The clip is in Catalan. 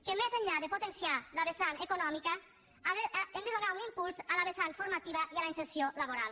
que més enllà de potenciar la vessant econòmica hem de donar un impuls a la vessant formativa i a la inserció laboral